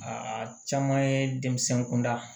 Aa caman ye denmisɛn kunda